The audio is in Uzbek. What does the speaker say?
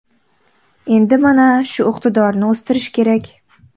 Endi mana shu iqtidorni o‘stirish kerak.